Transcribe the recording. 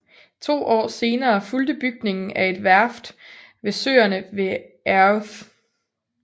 To år senere fulgte bygningen af et værft ved søerne ved Airth